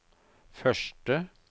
første